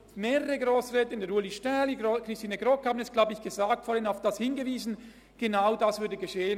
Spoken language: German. Mehrere Grossräte wie Ueli Stähli oder Christine Grogg haben darauf hingewiesen, dass genau das passieren würde.